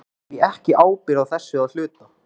Bera þeir því ekki ábyrgð á þessu að hluta?